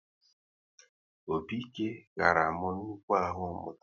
Opi-ike ghara m nnukwu ahụ mụta